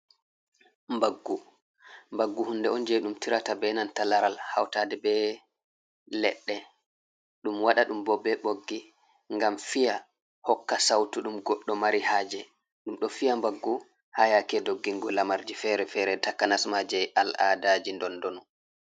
Mbaggu: Mbaggu hunde on je ɗum tirata be nanta laral hautade be leɗɗe. Ɗum waɗa ɗum bo be ɓoggi ngam fiya hokka sautu ɗum goɗɗo mari haje. Ɗum ɗo fiya mbaggu ha yake doggingo lamarji fere-fere takanas ma je al'adaji dondonu.